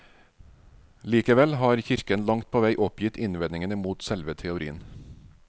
Likevel har kirken langt på vei oppgitt innvendingene mot selve teorien.